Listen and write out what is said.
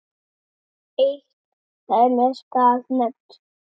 Eitt dæmi skal nefnt.